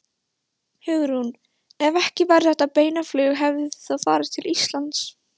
Hugrún: Ef ekki væri þetta beina flug hefðuð þið þá farið til Íslands?